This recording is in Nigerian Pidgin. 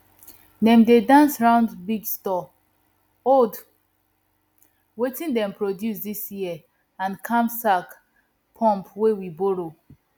dem dey dance round big store hold wetin dem produce dis year and knapsack pump wey we borrow